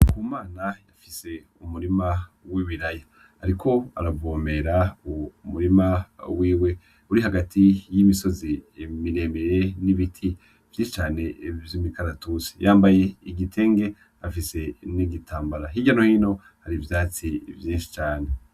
Ndikumana afise umurima w'ibiraya ariko arawuvomera ,uwo murima wiwe uri hagati y'imisozi miremire n'ibiti vyinshi cane vy'imikaratusi ,yambaye igitenge afise n'igitambara hirya nohino har'ivyatsi vyinshi cane.